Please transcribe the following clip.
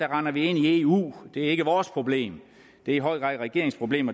render ind i eu det er ikke vores problem det er i høj grad regeringens problem